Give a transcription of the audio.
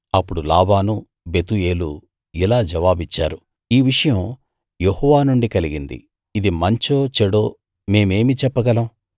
అప్పుడు లాబానూ బెతూయేలూ ఇలా జవాబిచ్చారు ఈ విషయం యెహోవా నుండి కలిగింది ఇది మంచో చెడో మేమేమి చెప్పగలం